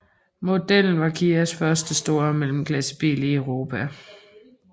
Modellen var Kias første store mellemklassebil i Europa